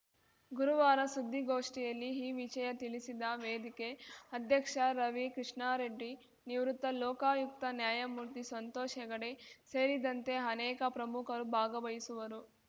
ಗುರುವಾರ ಸುದ್ದಿಗೋಷ್ಠಿಯಲ್ಲಿ ಈ ವಿಷಯ ತಿಳಿಸಿದ ವೇದಿಕೆ ಅಧ್ಯಕ್ಷ ರವಿ ಕೃಷ್ಣಾರೆಡ್ಡಿ ನಿವೃತ್ತ ಲೋಕಾಯುಕ್ತ ನ್ಯಾಯಮೂರ್ತಿ ಸಂತೋಷ್‌ ಹೆಗಡೆ ಸೇರಿದಂತೆ ಅನೇಕ ಪ್ರಮುಖರು ಭಾಗವಹಿಸುವರು